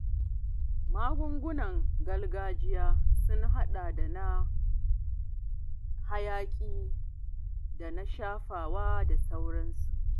Magungunan gargajiya sun haɗa da na hayaƙi da na shafawa da sauransu.